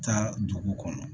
Taa dugu kɔnɔ